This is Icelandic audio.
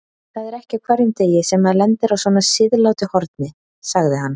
Það er ekki á hverjum degi sem maður lendir á svona siðlátu horni, sagði hann.